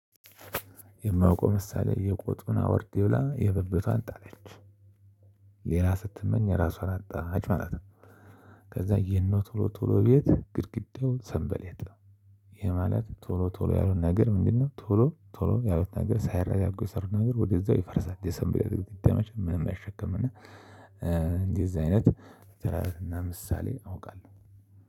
የማውቀው ምሳሌ የቆጡን አውርድ ብላ የብብቷን ጣለች ሌላ ስትመኝ የራሷን አጣች ማለት ነው። ከዛ የነ ቶሎ ቶሎ ቤት ግድግዳው ሰንበሌጥ። ይሄ ማለት ቶሎ ቶሎ ያሉት ነገር ምንድን ነው? ቶሎ ቶሎ ያሉት ነገር ሳይረጋጉ የሰሩት ነገር ወዲያው ይፈርሳል። የሰንበሌጥ ግድግዳ መቸም ምንም አይሸከምም። እና እንደዚህ አይነት ተረትና ምሳሌ አውቃለሁ።